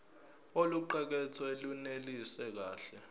oluqukethwe lunelisi kahle